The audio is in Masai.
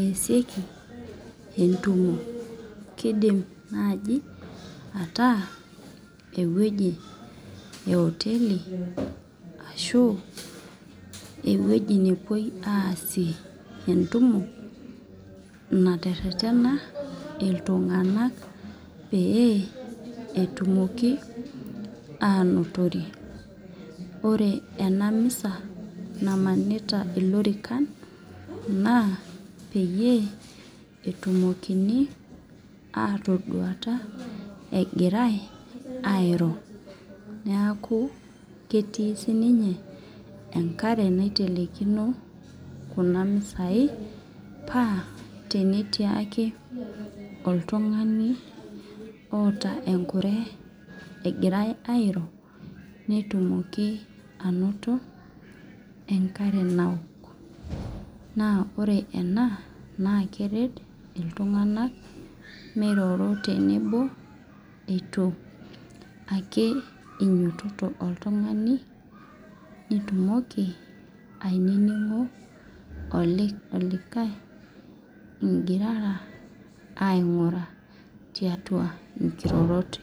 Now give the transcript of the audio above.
esieki entumo, kidim naaji ataa eweji eoteli Ashu eweji napoi asie entumo, naterena intunganak pee etumoki enotore, ore ena misa namanita ilorikan naa peeyie etumokini atoduata egirae airo, neeku ketii sininye enkare naitelekino Nena misai pee tenetii oltungani otaa enkure egirae airo netumoki anoto enkare nawok, naa oree enaa naa keret intunganak miroro tenebo ,itu ake inyototo oltungani nitumoki aininingo olikae igirara angura tiatu inkirorot